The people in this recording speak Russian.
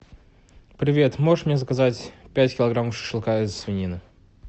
привет можешь мне заказать пять килограммов шашлыка из свинины